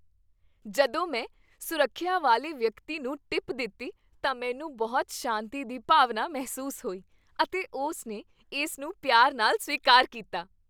ਜਦੋਂ ਮੈਂ ਸੁਰੱਖਿਆ ਵਾਲੇ ਵਿਅਕਤੀ ਨੂੰ ਟਿਪ ਦਿੱਤੀ ਤਾਂ ਮੈਨੂੰ ਬਹੁਤ ਸ਼ਾਂਤੀ ਦੀ ਭਾਵਨਾ ਮਹਿਸੂਸ ਹੋਈ, ਅਤੇ ਉਸਨੇ ਇਸ ਨੂੰ ਪਿਆਰ ਨਾਲ ਸਵੀਕਾਰ ਕੀਤਾ।